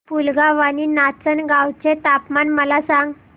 पुलगांव आणि नाचनगांव चे तापमान मला सांग